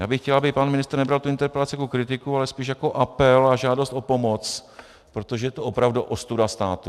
Já bych chtěl, aby pan ministr nebral tu interpelaci jako kritiku, ale spíš jako apel a žádost o pomoc, protože je to opravdu ostuda státu.